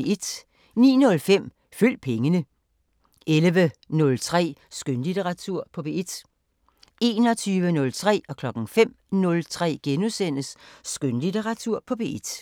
09:05: Følg pengene 11:03: Skønlitteratur på P1 21:03: Skønlitteratur på P1 * 05:03: Skønlitteratur på P1 *